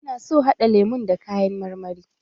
Ina so haɗa lemun da kayan marmari.